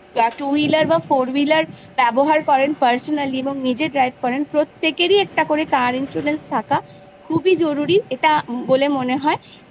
তো যারা two wheeler বা four wheeler ব্যবহার করেন personally এবং নিজে drive করেন প্রত্যেকেরই car insurance থাকা খুবই জরুরি বলে মনে হয়।